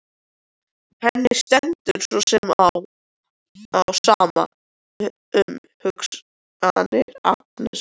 Henni stendur svo sem á sama um hugsanir Agnesar.